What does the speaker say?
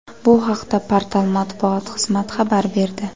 Bu haqda portal matbuot xizmati xabar berdi .